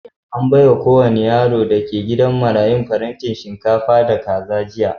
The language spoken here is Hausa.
An baiwa kowane yaro da ke gidan marayun farantin shinkafa da kaza jiya.